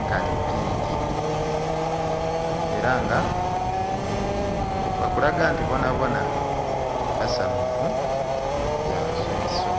nkanhi pinki, era nga bakulaga nti bona bona basanhufu bya nswiiso.